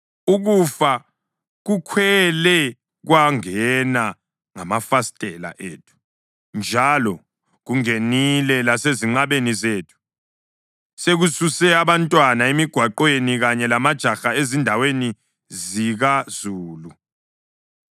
Ukufa kukhwele kwangena ngamafastela ethu, njalo kungenile lasezinqabeni zethu, sekususe abantwana emigwaqweni kanye lamajaha ezindaweni zikazulu.